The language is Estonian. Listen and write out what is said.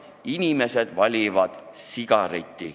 Inimesed valivad sigareti.